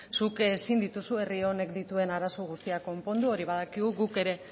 zuk ezin dituzu herri honek dituen arazo guztiak konpondu hori badakigu guk ere